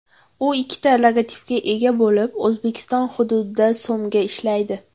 U ikkita logotipga ega bo‘lib, O‘zbekiston hududida so‘mga ishlaydi.